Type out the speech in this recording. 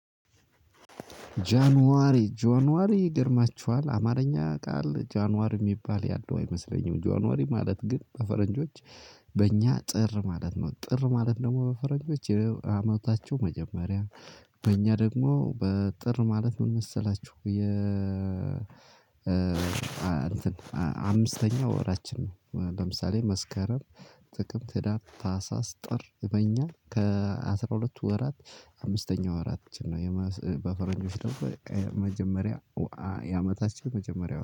ጃንዋሪ ጃንዋሪ ይገርማችኋል አማርኛ ቃል ጃንዋሪ የሚባል ያለው አይመስለኝም። ጃንዋሪ ማለት ግን በፈረንጆች በእኛ ጥር ማለት ነው። ጥር ማለት ደግሞ በፈረንጆች የአመታቸው መጀመሪያ በእኛ ደግሞ በጥር ማለት ምን መሰላችሁ የ አምስተኛ ወራችን ነው። ለምሳሌ መስከረም፣ ጥቅም፣ ህዳር፣ ታህሳስ፣ ጥር በእኛ ከ አስራ ሁለቱ ወራት አምስተኛ ወራች ነው። በፈረንጆች ደግሞ መጀመሪያ የአመታችው መጀመሪያ ነው።